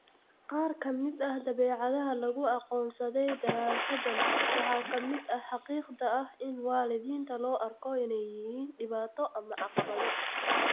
Qaar ka mid ah dabeecadaha lagu aqoonsaday daraasaddan waxaa ka mid ah xaqiiqda ah in waalidiinta loo arko inay yihiin dhibaato ama caqabado